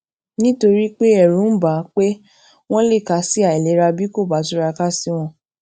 nítorí pé èrù ń bà á pé wón lè kà á sí àìlera bí kò bá túraká sí wọn